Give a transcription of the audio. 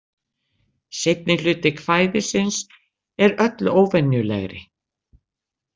Seinni hluti kvæðisins er öllu óvenjulegri.